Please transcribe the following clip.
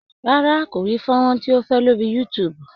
Rárá, kò rí fónrán tí ó fẹ́ lórí youtube.